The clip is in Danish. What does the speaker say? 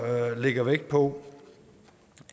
lægger vægt på